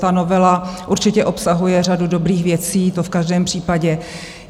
Ta novela určitě obsahuje řadu dobrých věcí, to v každém případě.